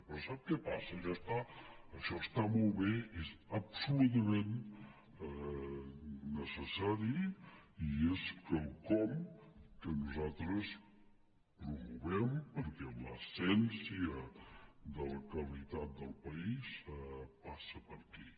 però sap què passa això està molt bé és absolutament necessari i és quelcom que nosaltres promovem perquè l’essència de la qualitat del país passa per aquí